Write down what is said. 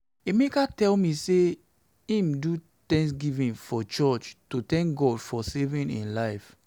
emeka tell me say he do thanksgiving for church to thank god for saving im life